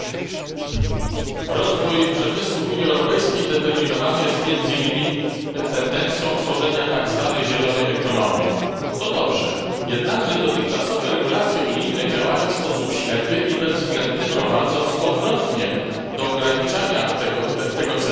Pani Przewodnicząca! Rozwój przemysłu w Unii Europejskiej jest determinowany między innymi tendencją tworzenia tak zwanej zielonej ekonomii. To dobrze. Jednakże dotychczasowe regulacje unijne działają w sposób ślepy i bezwzględny, prowadząc do odwrotnego skutku do ograniczania tego celu.